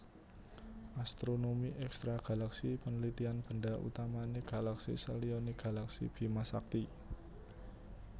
Astronomi Ekstragalaksi penelitian benda utamane galaksi seliyane galaksi Bimasakti